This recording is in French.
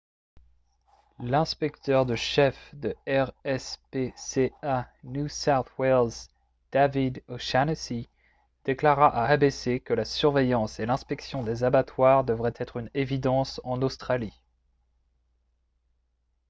l'inspecteur de chef de rspca new south wales david o'shannessy déclara à abc que la surveillance et l'inspection des abattoirs devrait être une évidence en australie